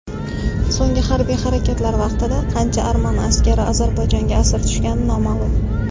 So‘nggi harbiy harakatlar vaqtida qancha arman askari Ozarbayjonga asir tushgani noma’lum.